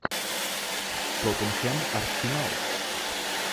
тоттенхэм арсенал